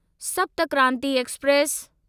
सप्त क्रांति एक्सप्रेस